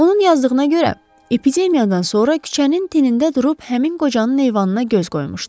Onun yazdığına görə epidemiyadan sonra küçənin tinində durub həmin qocanın eyvanına göz qoymuşdu.